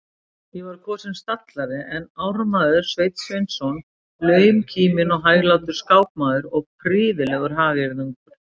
Ég var kosinn stallari en ármaður Sveinn Sveinsson, launkíminn og hæglátur skákmaður og prýðilegur hagyrðingur.